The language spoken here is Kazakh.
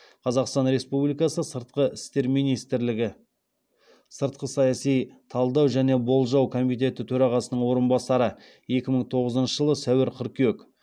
қазақстан республикасы сыртқы істер министрлігі сыртқы саяси талдау және болжау комитеті төрағасының орынбасары